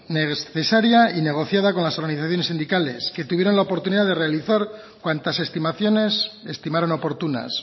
necesaria y negociada con las organizaciones sindicales que tuvieron la oportunidad de realizar cuantas estimaciones estimaron oportunas